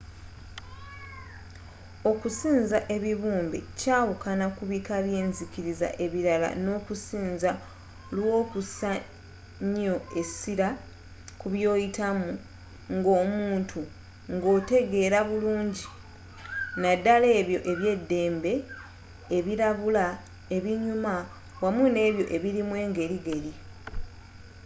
okusinza ebibumbe kyawukana kubika byenzikiriza ebirala nokusinza olwokusa nnyo essira ku byoyitamu ngomuntui ngotegera burungi naddala ebyo ebyeddembe ebirabula ebinyuma wamu nebyo ebirimu engerigeri